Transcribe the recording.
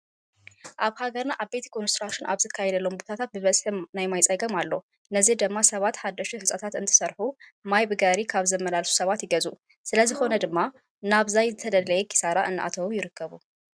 ኣብ ሃገርና ዓበይቲ ኮንስትርክሽን ኣብ ዝካየደሎም ቦታታት በብዝሒ ናይ ማይ ፀገም ኣሎ። ነዚ ድማ ሰባት ሓደሽቲ ህንፃታት እንትስርሑ ማይ ብጋሪ ካብ ዝመላለሱ ሰባት ይገዝኡ። ስለዝኾነ ድማ ናብ ዘይተደለየ ኪሳራ እናተዓልዑ ይርከቡ።